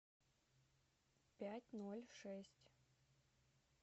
пять ноль шесть